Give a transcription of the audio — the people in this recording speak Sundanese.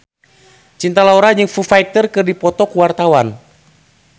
Cinta Laura jeung Foo Fighter keur dipoto ku wartawan